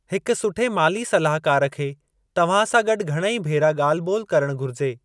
हिक सुठे माली सलाहकार खे तव्हां सां गॾु घणेई भेरा ॻाल्हि बो॒ल करणु घुरिजे।